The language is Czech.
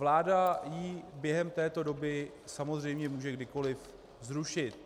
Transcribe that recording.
Vláda ji během této doby samozřejmě může kdykoli zrušit.